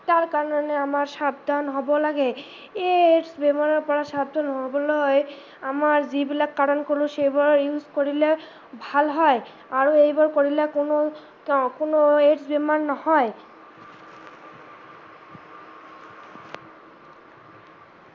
তাৰ কাৰনে আমাৰ সাবধান হব লাগে, এই AIDS বেমাৰৰ পৰা সাবধান নহবলৈ হয় আমাৰ যিবিলাক কাৰন কলো সেইবিলাক use কৰিলে ভাল হয় আৰু এইবোৰ কৰিলে কোনো AIDS বেমাৰ নহয়।